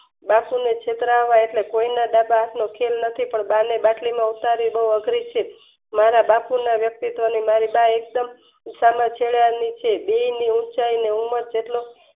બા છેલ્લે છેતરાના એટલે એટલે કોયના દાદા એટલો ખેલ નથી પણ બા ને બાટલી માં ઉતારી બો અઘરી છે. મારા બાપુ ને મારી બા વ્યક્તિત્વની મારી બા એકજ એ સામ ચેડવયેલું છે બેયની ઉંચાઈ અને ઉમર